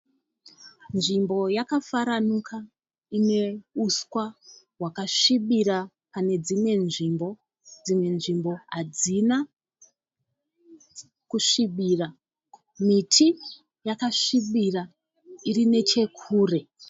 Nzvimbo yakafaranuka ineuswa hwakasvibira panedzimwe nzvimbo dzimwe nzvimbo hadzina kusvibira. Miti yakasvibira iri nechekure.